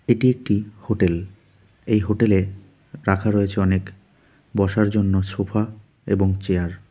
এটি একটি হোটেল এই হোটেল -এ রাখা রয়েছে অনেক বসার জন্য সোফা এবং চেয়ার ।